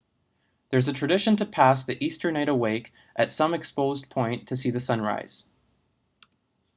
there's a tradition to pass the easter night awake at some exposed point to see the sunrise